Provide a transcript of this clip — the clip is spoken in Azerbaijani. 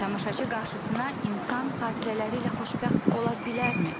Tamaşaçı qarşısına insan xatirələri ilə xoşbəxt ola bilərmi?